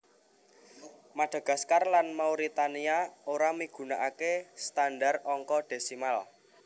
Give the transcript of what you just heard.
Madagaskar lan Mauritania ora migunakaké standar angka desimal